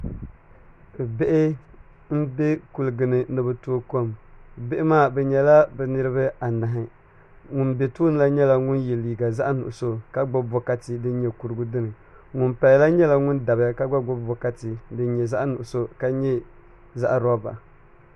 Bihi n bɛ kuligi ni ni bi tooi kom bihi maa bi nyɛla bi niraba anahi ŋun bɛ tooni la nyɛla ŋun yɛ liiga zaɣ nuɣso ka gbubi bikati din nyɛ kurigu dini ŋun paya la gba nyɛla ŋun dabiya ka gba gbubi bokati din nyɛ zaɣ nuɣso ka nyɛ zaɣ roba